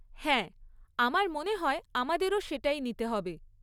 হ্যাঁ, আমার মনে হয় আমাদেরও সেটাই নিতে হবে।